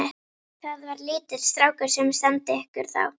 Það var lítill strákur sem sendi ykkur þá.